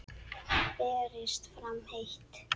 Berist fram heitt.